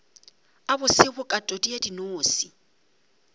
a bose bokatodi ya dinose